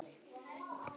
Reykur í þaki í Hátúni